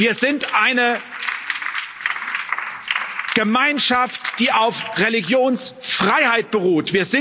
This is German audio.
Wir sind eine Gemeinschaft, die auf Religionsfreiheit beruht.